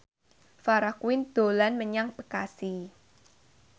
Farah Quinn dolan menyang Bekasi